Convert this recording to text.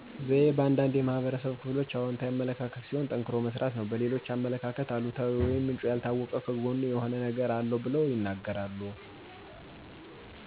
ዘዬ በአንዳንድ የህብረተሰብ ክፍሎች አወንታዊ አመለካከት ሲሆን ጠንክሮ በመስራት ነው። በሌሎች አመለካከት አሉታዊ ወይም ምንጭ ያልታወቀ ከጎኑ የሆነ ነገር አለዉ ብለው ይናገራሉ።